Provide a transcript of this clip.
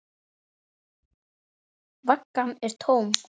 Vaggan er tóm.